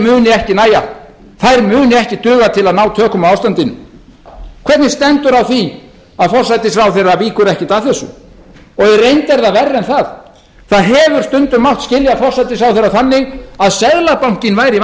muni ekki nægja þeir munu ekki duga til að ná tökum á ástandinu hvernig stendur á því að forsætisráðherra víkur ekkert að þessu í reynd er það verra en það það hefur stundum mátt skilja forsætisráðherrann þannig að seðlabankinn væri